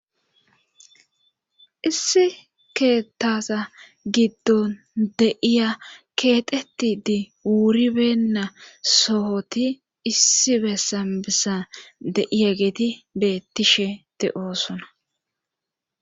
issi keettaza giddon deiya keexeti di wuribenna sohoti issi bessan bessan deiya geeti beettishete oosona